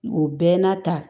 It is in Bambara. O bɛɛ n'a ta